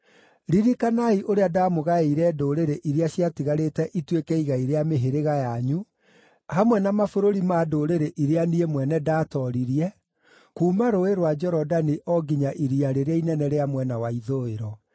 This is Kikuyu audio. Ririkanai ũrĩa ndamũgaĩire ndũrĩrĩ iria ciatigarĩte ituĩke igai rĩa mĩhĩrĩga yanyu, hamwe na mabũrũri ma ndũrĩrĩ iria niĩ mwene ndatooririe, kuuma Rũũĩ rwa Jorodani o nginya Iria rĩrĩa Inene rĩa mwena wa ithũĩro.